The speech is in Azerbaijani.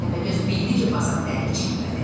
Təpəgöz bildi ki, Basat dəri içindədir.